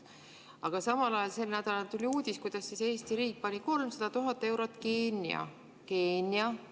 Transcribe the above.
Aga samal ajal sel nädalal tuli uudis, kuidas Eesti riik pani 300 000 eurot Keenia – Keenia!